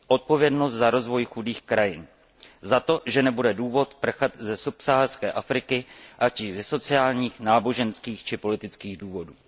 Odpovědnost za rozvoj chudých krajin, za to, že nebude důvod prchat ze subsaharské Afriky, ať již ze sociálních, náboženských či politických důvodů.